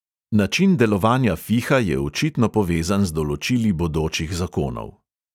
Način delovanja fiha je očitno povezan z določili bodočih zakonov.